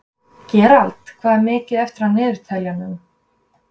Gerald, hvað er mikið eftir af niðurteljaranum?